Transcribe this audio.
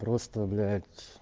просто блять